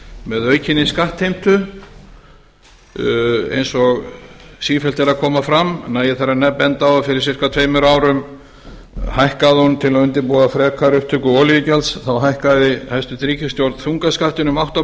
með aukinni skattheimtu eins og sífellt er að koma fram nægir þar að benda á að fyrir ca tveimur árum hækkaði hún til að undirbúa frekar töku olíugjalds þá hækkaði hæstvirt ríkisstjórn þungaskattinn um átta